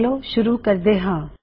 ਚਲੋ ਸ਼ੁਰੂ ਕਰਦੇ ਹਾਂ